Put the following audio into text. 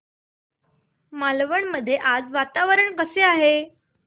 मालवण मध्ये आज वातावरण कसे आहे